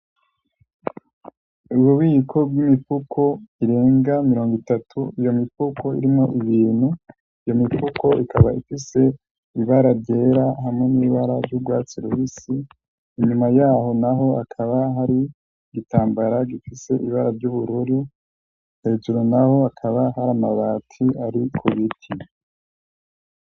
Ububiko bw'imipfuko irenga mirongo itatu iyo mifuko irimwo ibintu iyo mifuko ikaba ifise ibara ryera hamwe n'ibara ry'urwatsi rusi inyuma yaho, naho akaba hari igitambara gifise ibara ry'ubururu hejuru, naho akaba hari amabati ari kubiti.